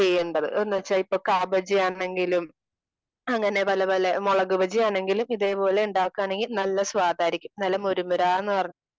ചെയ്യേണ്ടത്. അത് എന്ന് വച്ചാ ഇപ്പോ കാ ബജി ആണെങ്കിലും അങ്ങനെ പല പല മുളക് ഭജിയാണെങ്കിലും ഇതേ പോലെ ഉണ്ടാക്കുകയാണെങ്കിൽ നല്ല സ്വാദായായിരിക്കും. നല്ല മൂര് മുര